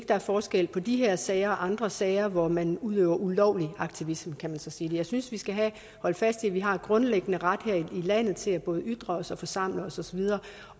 der er forskel på de her sager og andre sager hvor man udøver ulovlig aktivisme kan man så sige jeg synes vi skal holde fast i at vi har en grundlæggende ret her i landet til både at ytre os og forsamle os og så videre